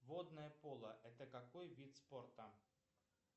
водное поло это какой вид спорта